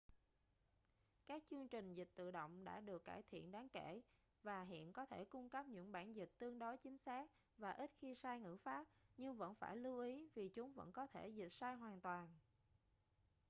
các chương trình dịch tự động đã được cải thiện đáng kể và hiện có thể cung cấp những bản dịch tương đối chính xác và ít khi sai ngữ pháp nhưng vẫn phải lưu ý vì chúng vẫn có thể dịch sai hoàn toàn